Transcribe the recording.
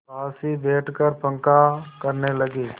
पास ही बैठकर पंखा करने लगी